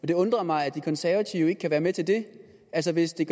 det undrer mig at de konservative ikke kan være med til det altså hvis det